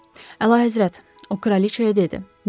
Əla həzrət, o kraliçaya dedi.